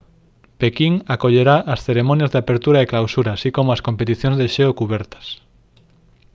pequín acollerá as cerimonias de apertura e clausura así como as competicións de xeo cubertas